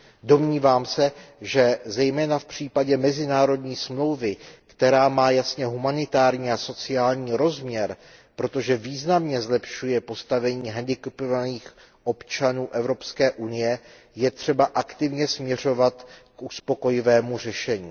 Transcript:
Domnívám se, že zejména v případě mezinárodní smlouvy, která má jasně humanitární a sociální rozměr, protože významně zlepšuje postavení handicapovaných občanů EU, je třeba aktivně směřovat k uspokojivému řešení.